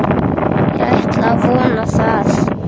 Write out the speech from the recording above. Ég ætla að vona það.